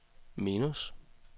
minus